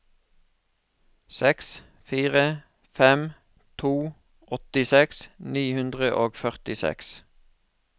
seks fire fem to åttiseks ni hundre og førtiseks